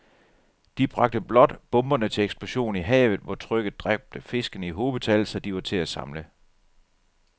De bragte blot bomberne til eksplosion i havet, hvor trykket dræbte fiskene i hobetal, så de var til at samle